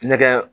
Nɛkɛ